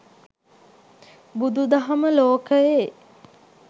බුදුදහම ලෝකයේ